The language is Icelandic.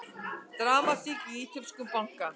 Dramatík í ítölskum banka